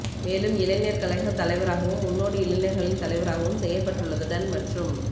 மேலும் இளைஞர் கழக தலைவராகவும் முன்னோடி இளைஞர்களின் தலைவராகவும் செயற்பட்டுள்ளதுடன் மற்றும்